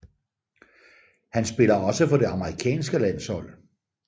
Han spiller også for det amerikanske landshold